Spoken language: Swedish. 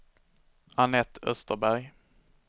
Anette Österberg